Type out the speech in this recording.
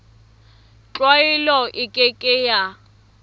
tlwaelo e ke ke ya